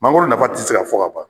Mangoro nafa te se ka fɔ ka ban